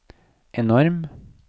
enorm